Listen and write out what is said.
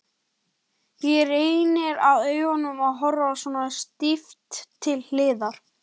Það reynir á augun að horfa svona stíft til hliðar.